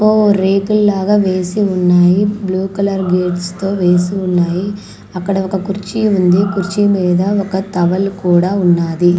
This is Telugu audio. ఓ రేకులు లాగా వేసి ఉన్నాయి బ్లూ కలర్ గేట్స్ తో వేసి ఉన్నాయి అక్కడ ఒక కుర్చీ ఉంది కుర్చీ మీద ఒక తవలు కూడా ఉన్నాది.